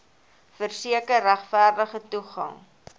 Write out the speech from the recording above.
verseker regverdige toegang